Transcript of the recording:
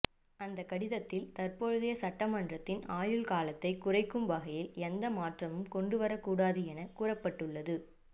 அந்த கடிதத்தில் தற்போதைய சட்டமன்றத்தின் ஆயுள் காலத்தை குறைக்கும் வகையில் எந்த மாற்றமும் கொண்டு வரக்கூடாது என கூறப்பட்டுள்ளது